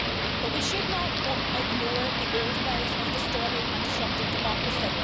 But we should not ignore the old ways of distorting and disrupting democracy.